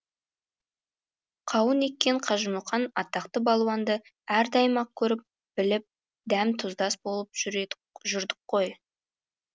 қауын еккен қажымұқан атақты балуанды әрдайым ақ көріп біліп дәм тұздас болып жүрдік қой